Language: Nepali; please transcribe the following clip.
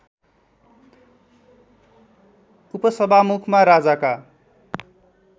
उपसभामुखमा राजाका